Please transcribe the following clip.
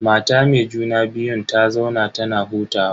Mata me juna biyun ta zauna tana hutawa.